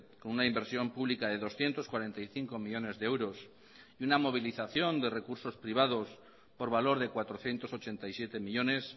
con una inversión pública de doscientos cuarenta y cinco millónes de euros y una movilización de recursos privados por valor de cuatrocientos ochenta y siete millónes